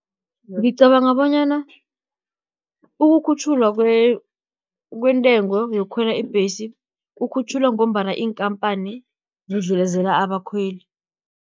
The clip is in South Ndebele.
Ngicabanga bonyana, ukukhutjhulwa kwentengo, yokukhwela ibhesi ikhutjhulwa, ngombana iinkampani zidlelezela abakhweli.